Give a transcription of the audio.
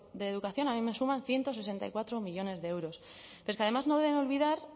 de educación a mí me suman ciento sesenta y cuatro millónes de euros pero es que además no deben